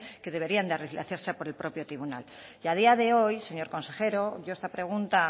que deberían de hacerse por el propio tribunal y a día de hoy señor consejero yo esta pregunta